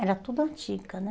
Era tudo antiga, né?